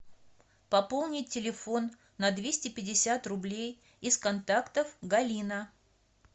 пополнить телефон на двести пятьдесят рублей из контактов галина